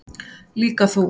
Líka þú.